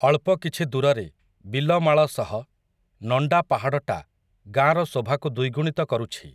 ଅଳ୍ପ କିଛି ଦୂରରେ, ବିଲମାଳ ସହ, ନଣ୍ଡା ପାହାଡ଼ଟା, ଗାଁର ଶୋଭାକୁ ଦ୍ୱିଗୁଣିତ କରୁଛି ।